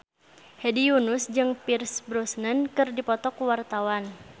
Hedi Yunus jeung Pierce Brosnan keur dipoto ku wartawan